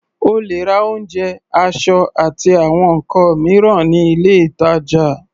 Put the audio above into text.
O lè ra oúnjẹ, aṣọ, àti àwọn nǹkan mìíràn ní ilé-ìtàjà.